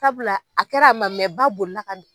Sabula a kɛra a man mɛn ba boli la ka